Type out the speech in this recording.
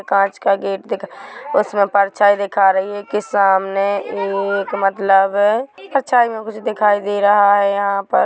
कांच का गेट दिख उसमे परछाई दिखा रही कि सामने एक मतलब परछाई मे कुछ दिखाई दे रहा हैं यहाँ पर--